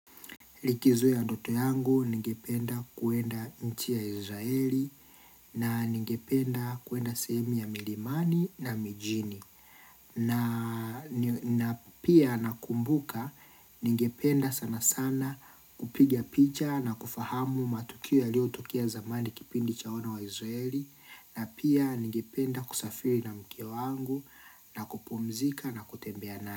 Likizu ya ndoto yangu ningependa kuenda nchi ya Israeli na ningependa kuenda sehemi ya milimani na mijini. Na pia nakumbuka ningependa sana sana kupiga picha na kufahamu matukio yaliotokea zamani kipindi cha wana wa Israeli na pia ningependa kusafiri na mke wangu na kupumzika na kutembea nani.